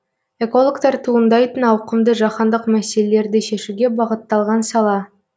экологтар туындайтын ауқымды жаһандық мәселелерді шешуге бағытталған сала